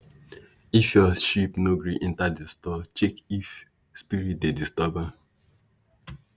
if your sheep no gree enter the store check if spirit dey disturb am.